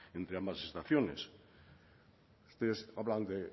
entre ambas estaciones ustedes hablan de